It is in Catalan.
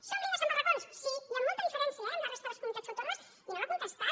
som líders en barracons sí i amb molta diferència eh respecte a la resta de les comunitats autònomes i no m’ha contestat